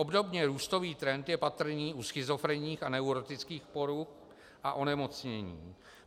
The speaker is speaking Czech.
Obdobně růstový trend je patrný u schizofrenních a neurotických poruch a onemocnění.